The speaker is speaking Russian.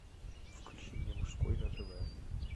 включи мне мужской на тв